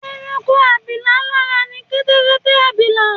Ẹranko abilà lára ni Kẹ́tẹ́kẹ́tẹ́-abilà